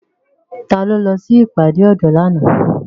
Ta lo lọ sí ìpàdé ọ̀dọ́ lánàá?